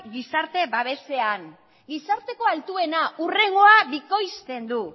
gizarte babesean gizarteko altuena hurrengoa bikoizten du